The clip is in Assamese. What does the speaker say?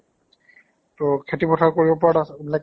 ত খেতি পথাৰ কৰিব পৰা তাচ এইবিলাক